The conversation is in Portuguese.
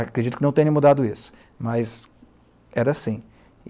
Acredito que não tenha mudado isso, mas era assim.